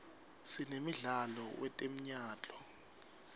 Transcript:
sinemdlalo wetemyalto